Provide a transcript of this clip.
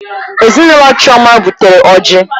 Ezinụlọ Chioma butere ọjị.